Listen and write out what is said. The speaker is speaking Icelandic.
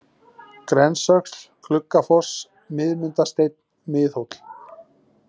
Grensöxl, Gluggafoss, Miðmundasteinn, Miðhóll